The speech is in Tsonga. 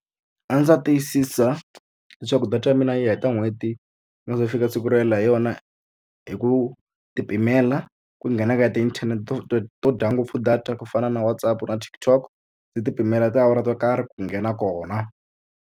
A ndzi ta tiyisisa leswaku data ya mina yi heta n'hweti fika siku ro helela hi yona hi ku ti pimela ku nghena ka tiinthanete to to to dya ngopfu data ku fana na WhatsApp na TikTok, ndzi ti pimela tiawara to karhi ku nghena kona.